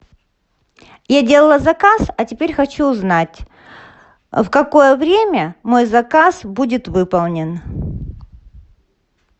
я делала заказ а теперь хочу узнать в какое время мой заказ будет выполнен